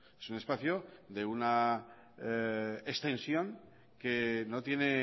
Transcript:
es un espacio de una extensión que no tiene